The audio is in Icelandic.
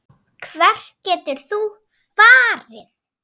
Hvert getur þú farið?